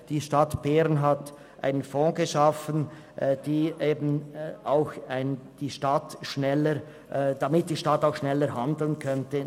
Die Stadt Bern hat einen Fonds geschaffen, damit die Stadt diesbezüglich schneller handeln kann.